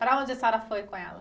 Para onde a senhora foi com ela?